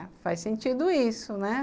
É, faz sentido isso, né?